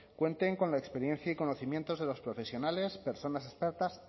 cuenten con la experiencia y conocimientos de los profesionales personas expertas